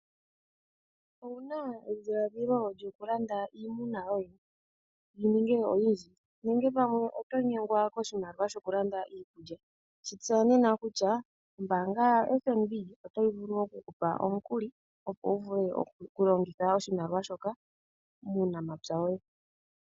Owuna edhiladhilo lyokulanda iimuna yoye, yi ninge oyindji, nenge pamwe oto nyengwa koshimaliwa shoku landa iikulya, shi tseya nena kutya ombaanga ya FNB otayi vulu oku ku pa omukuli opo wu vule oku longitha oshimaliwa shoka muunamapya woye.